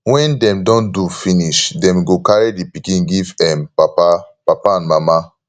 wen dem don do finish dem go carry di pikin give em papa papa and mama